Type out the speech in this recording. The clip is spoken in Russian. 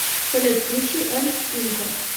салют включи эм инко